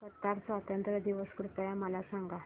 Qatar स्वातंत्र्य दिवस कृपया मला सांगा